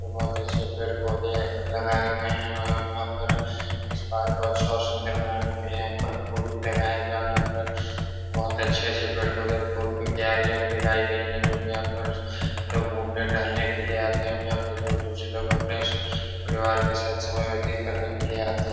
बोहोत अच्छे पेड़-पौधे लगाये गये हैं एवं यहाँ पर इस पार्क को अच्छा और सुन्दर बनाने के लिये यहाँ पर फूल भी लगाये गये और यहाँ पर बहोत अच्छे-अच्छे पेड़-पौधे और फूल की क्यारियाँ भी लगाई गयी हैं जो कि यहाँ पर लोग घूमने टहलने के लिये आते हैं एवं यहाँ पर दूर-दूर से लोग अपने से परिवार के साथ समय व्यतीत करने के लिये आते --